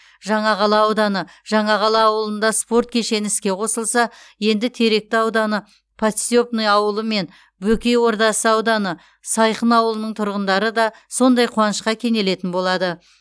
жаңақала ауданы жаңақала ауылында спорт кешені іске қосылса енді теректі ауданы подстепный ауылы мен бөкей ордасы ауданы сайқын ауылының тұрғындары да сондай қуанышқа кенелетін болады